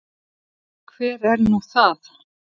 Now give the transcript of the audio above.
Hver er nú það?